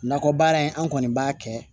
Nakɔ baara in an kɔni b'a kɛ